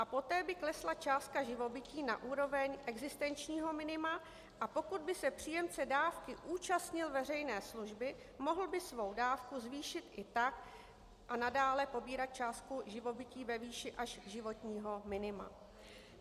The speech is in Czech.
A poté by klesla částka živobytí na úroveň existenčního minima, a pokud by se příjemce dávky účastnil veřejné služby, mohl by svou dávku zvýšit i tak a nadále pobírat částku živobytí ve výši až životního minima.